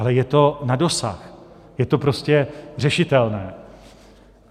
Ale je to na dosah, je to prostě řešitelné.